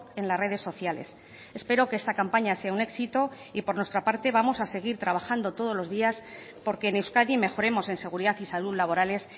en las redes sociales espero que esta campaña sea un éxito y por nuestra parte vamos a seguir trabajando todos los días por que en euskadi mejoremos en seguridad y salud laborales